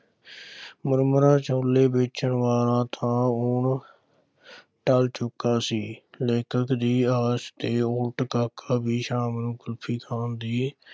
ਮੁਰਮੁਰਾ ਛੋਲੇ ਵੇਚਣ ਵਾਲਾ ਤਾਂ ਹੁਣ ਟਲ ਚੁੱਕਾ ਸੀ, ਲੇਖਕ ਦੀ ਆਸ ਦੇ ਉੱਲਟ ਕਾਕਾ ਵੀ ਸ਼ਾਮ ਨੂੰ ਕੁਲਫ਼ੀ ਖਾਣ ਦੀ